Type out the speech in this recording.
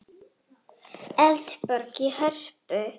Eldborg í Hörpu.